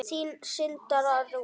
Þín Sandra Rún.